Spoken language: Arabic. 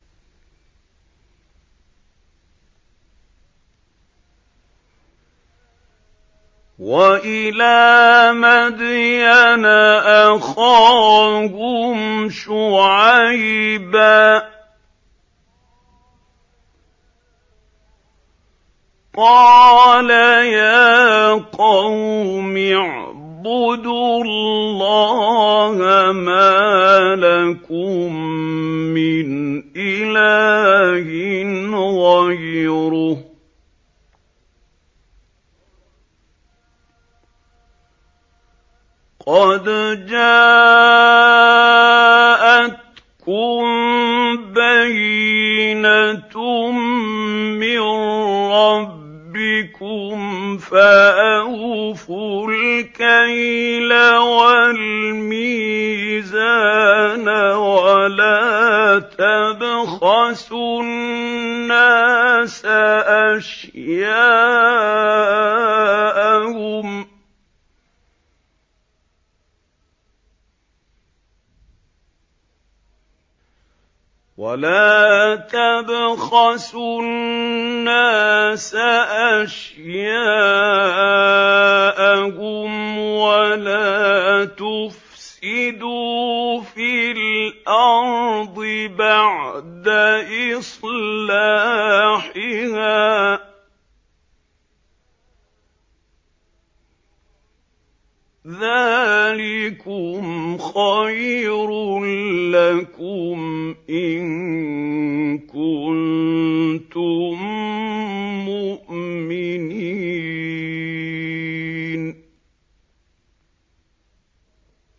وَإِلَىٰ مَدْيَنَ أَخَاهُمْ شُعَيْبًا ۗ قَالَ يَا قَوْمِ اعْبُدُوا اللَّهَ مَا لَكُم مِّنْ إِلَٰهٍ غَيْرُهُ ۖ قَدْ جَاءَتْكُم بَيِّنَةٌ مِّن رَّبِّكُمْ ۖ فَأَوْفُوا الْكَيْلَ وَالْمِيزَانَ وَلَا تَبْخَسُوا النَّاسَ أَشْيَاءَهُمْ وَلَا تُفْسِدُوا فِي الْأَرْضِ بَعْدَ إِصْلَاحِهَا ۚ ذَٰلِكُمْ خَيْرٌ لَّكُمْ إِن كُنتُم مُّؤْمِنِينَ